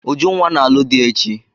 Ujunwa na-alụ di echi.